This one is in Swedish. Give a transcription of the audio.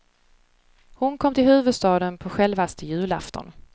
Hon kom till huvudstaden på självaste julafton.